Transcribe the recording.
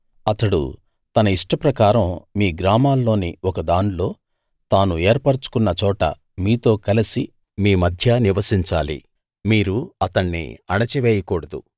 అతడు తన ఇష్టప్రకారం మీ గ్రామాల్లోని ఒకదాన్లో తాను ఏర్పరచుకున్న చోట మీతో కలిసి మీ మధ్య నివసించాలి మీరు అతణ్ణి అణచివేయకూడదు